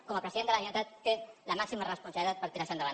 com a president de la generalitat té la màxima responsabilitat per tirar això endavant